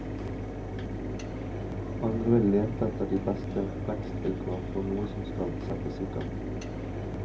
Andre vil lete etter de beste vekstvilkår for noe som skal settes i gang.